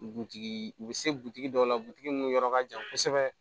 Butigi u bɛ se butigi dɔw la mun yɔrɔ ka jan kosɛbɛ